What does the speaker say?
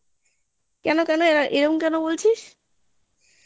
কেন কেন এরম কেন বলছিস